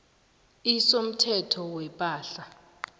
iv somthetho wepahla